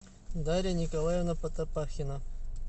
дарья николаевна потопахина